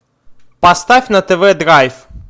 поставь на тв драйв